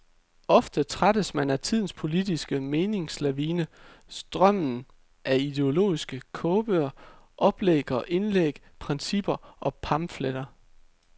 Ofte trættes man af tidens politiske meningslavine, strømmen af ideologiske kogebøger, oplæg og indlæg, principper og pamfletter.